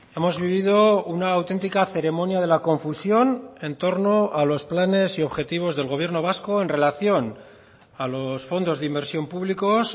hemos vivido una auténtica ceremonia de la confusión en torno a los planes y objetivos del gobierno vasco en relación a los fondos de inversión públicos